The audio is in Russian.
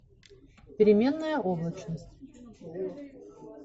переменная облачность